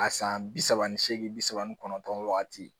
A san bi saba ni seegin bi saba ni kɔnɔntɔn wagati